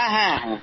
হ্যাঁ